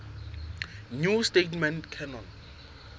new testament canon